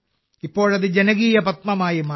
ഇപ്പോഴത് ജനകീയ പദ്മമായി മാറി